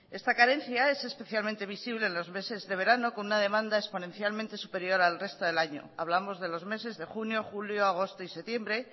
esta carencia es especialmente visible los meses de verano con una demanda exponencialmente superior al resto del año hablamos de los meses de junio julio agosto y septiembre